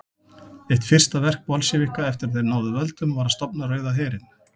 Eitt fyrsta verk Bolsévíka eftir að þeir náðu völdum var að stofna Rauða herinn.